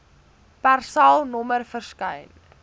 persal nommer verskyn